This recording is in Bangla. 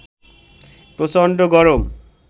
প্রচন্ড গরম